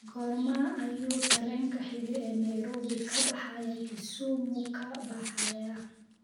Goorma ayuu tareenka xiga ee Nairobi ka baxaya kisumu ka baxayaa